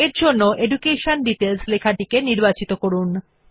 তাই education details লেখাটি নির্বাচন করুন